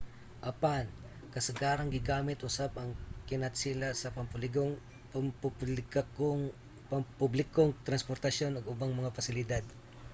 apan kasagarang gigamit usab ang kinatsila sa pampublikong transportasyon ug ubang mga pasilidad